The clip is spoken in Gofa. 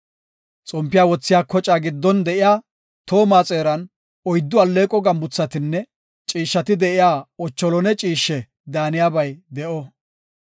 Xompiya wothiya kocaa giddon de7iya tooma xeeran oyddu alleeqo gambuthatinne ciishshati de7iya lawuze mitha ciishshe daaniyabay de7o.